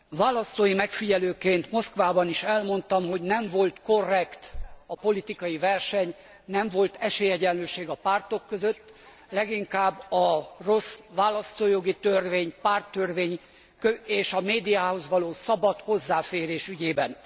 Választói megfigyelőként Moszkvában is elmondtam, hogy nem volt korrekt a politikai verseny, nem volt esélyegyenlőség a pártok között leginkább a rossz választójogi törvény, párttörvény és a médiához való szabad hozzáférés ügyében.